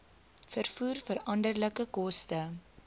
vervoer veranderlike koste